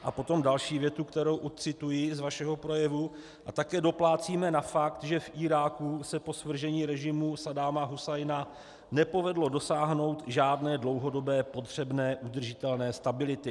A potom další větu, kterou odcituji z vašeho projevu: A také doplácíme na fakt, že v Iráku se po svržení režimu Saddáma Husajna nepovedlo dosáhnout žádné dlouhodobé potřebné udržitelné stability.